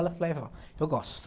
Ela falou, ai vó, eu gosto.